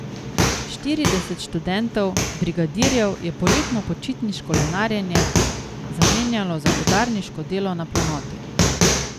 Štirideset študentov brigadirjev je poletno počitniško lenarjenje zamenjalo za udarniško delo na planoti.